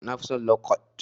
Na fi son lo kwat.